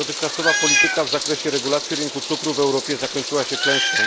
Dotychczasowa polityka w zakresie regulacji rynku cukru w Europie zakończyła się klęską.